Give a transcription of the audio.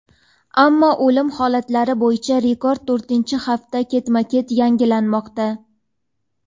ammo o‘lim holatlari bo‘yicha rekord to‘rtinchi hafta ketma-ket yangilanmoqda.